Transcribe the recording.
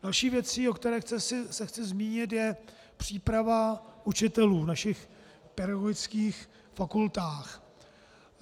Další věcí, o které se chci zmínit, je příprava učitelů v našich pedagogických fakultách.